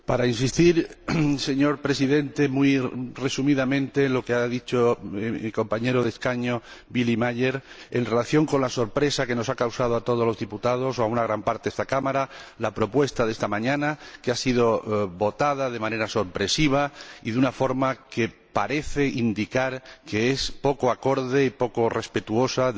Señor Presidente, quiero insistir muy resumidamente en lo que ha dicho mi compañero de escaño, Willy Meyer, en relación con la sorpresa que nos ha causado a todos los diputados, o a una gran parte de esta Cámara, la propuesta de esta mañana, que ha sido votada de manera sorpresiva y de una forma que parece indicar que es poco acorde y poco respetuosa del orden reglamentario.